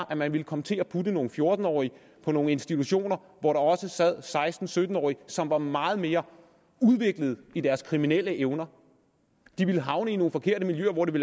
at man ville komme til at putte nogle fjorten årige på nogle institutioner hvor der også sad seksten til sytten årige som var meget mere udviklet i deres kriminelle evner de ville havne i nogle forkerte miljøer og det